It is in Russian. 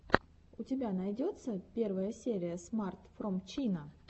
у тебя найдется первая серия смарт фром чина